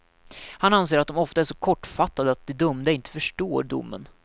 Han anser att de ofta är så kortfattade att de dömda inte förstår domen.